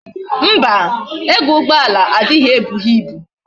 Mba, ego ugboala adinye ebughi ibu